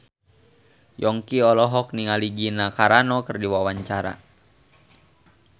Yongki olohok ningali Gina Carano keur diwawancara